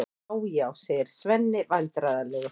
Já, já, segir Svenni vandræðalegur.